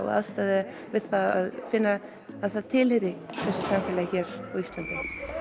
og aðstoða það við að finna að það tilheyri þessu samfélagi hér á Íslandi